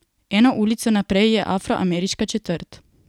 Eno ulico naprej je bila afroameriška četrt.